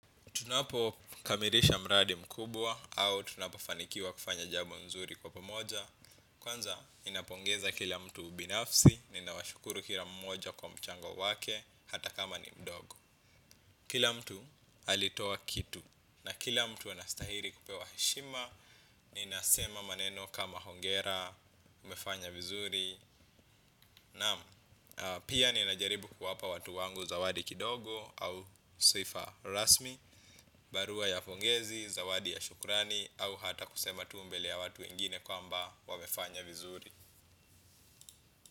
Tunapokamilisha mradi mkubwa au tunapofanikiwa kufanya jambo nzuri kwa pamoja. Kwanza, ninapongeza kila mtu binafsi, ninawashukuru kila mmoja kwa mchango wake, hata kama ni mdogo. Kila mtu alitoa kitu. Na kila mtu anastahili kupewa heshima, ninasema maneno kama hongera, umefanya vizuri. Naam, pia ninajaribu kuwapa watu wangu zawadi kidogo au sifa rasmi. Barua ya pongezi, zawadi ya shukrani au hata kusema tu mbele ya watu wengine kwamba wamefanya vizuri.